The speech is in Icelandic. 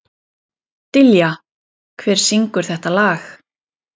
Dilja, hver syngur þetta lag?